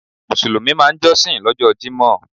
Mùsùlùmí máa n jósìn lójó Jímò